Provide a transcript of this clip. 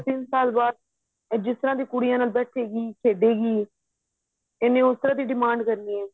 ਦੋ ਤਿੰਨ ਸਾਲ ਬਾਅਦ ਆ ਜਿਸ ਤਰ੍ਹਾਂ ਦੀ ਕੁੜੀਆਂ ਨਾਲ ਬੈਠੇਗੀ ਖੇਡੇਗੀ ਇਹਨੇ ਉਸ ਤਰ੍ਹਾਂ ਦੀ demand ਕਰਨੀ ਹੈ